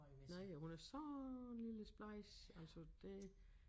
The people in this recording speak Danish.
Nej og hun er sådan en lille splejs altså det